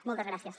moltes gràcies